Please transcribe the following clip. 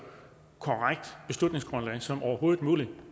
korrekt beslutningsgrundlag som overhovedet muligt